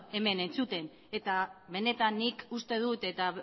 hemen entzuten eta benetan nik uste dut eta